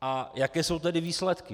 A jaké jsou tedy výsledky?